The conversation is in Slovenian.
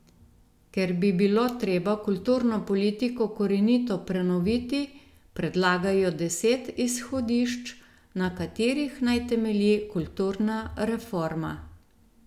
Ker bi bilo treba kulturno politiko korenito prenoviti, predlagajo deset izhodišč, na katerih naj temelji kulturna reforma.